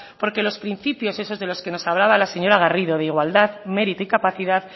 porque los principios esos de los que nos hablaba la señora garrido de igualdad mérito y capacidad